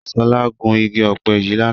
Ṣọlá gun igi ọ̀pẹ yìí lánàá.